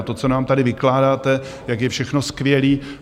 A to, co nám tady vykládáte, jak je všechno skvělé.